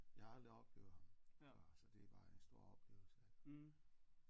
Jeg har aldrig oplevet ham før så det var en stor oplevelse